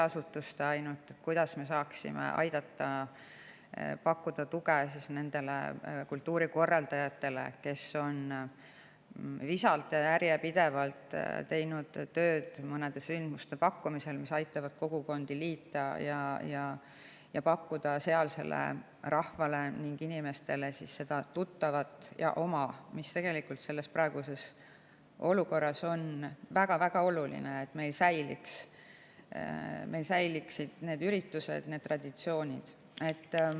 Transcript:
kuidas me saaksime pakkuda tuge nendele kultuurikorraldajatele, kes on visalt ja järjepidevalt teinud tööd selliste sündmuste, mis aitavad kogukondi liita, pakuvad sealsele rahvale seda tuttavat ja oma, mis praeguses olukorras on väga-väga oluline, selleks et meil säiliksid traditsioonid.